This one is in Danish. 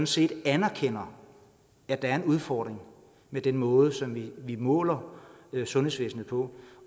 side anerkender at der er en udfordring med den måde som vi måler sundhedsvæsenet på